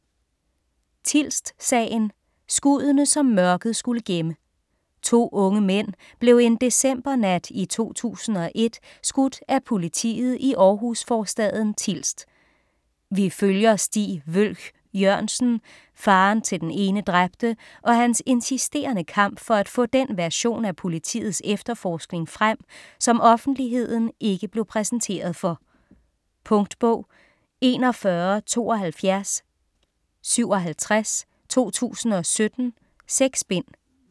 Tilst-sagen: skuddene, som mørket skulle gemme To unge mænd blev en decembernat i 2001 skudt af politiet i Århus-forstaden Tilst. Vi følger Stig Wølch Jørgensen, faderen til den ene dræbte, og hans insisterende kamp for at få den version af politiets efterforskning frem, som offentligheden ikke blev præsenteret for. Punktbog 417257 2017. 6 bind.